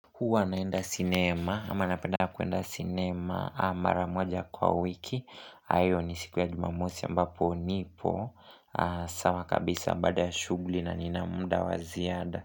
Huwa naenda cinema ama napenda kuenda cinema mara moja kwa wiki ayo ni siku ya jumamosi ambapo nipo sawa kabisa baada shughuli na nina muda wa ziada.